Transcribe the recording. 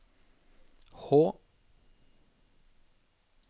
Hå